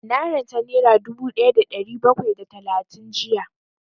Na ranta nera dubu ɗaya da ɗari bakwai da talatin jiya